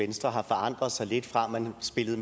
venstre har forandret sig lidt fra at man spillede